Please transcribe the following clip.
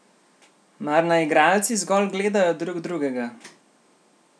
Mar naj igralci zgolj gledajo drug drugega?